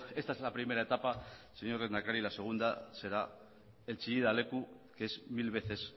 esta es la primera etapa señor lehendakari la segunda será el chillida leku que es mil veces